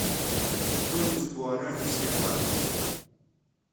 стоимость гуарани в сбербанке